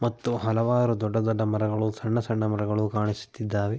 ಮತ್ತು ಹಲವಾರು ದೊಡ್ಡ ದೊಡ್ಡ ಮರಗಳು ಸಣ್ಣ ಸಣ್ಣ ಮರಗಳು ಕಾಣಿಸುತ್ತಿದ್ದಾವೆ.